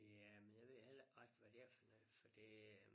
Ja men jeg ved heller ikke rigtig hvad det er for noget for det øh